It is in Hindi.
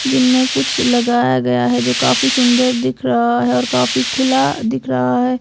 जिनमें कुछ लगाया गया है जो काफी सुंदर दिख रहा है और काफी खुला दिख रहा है।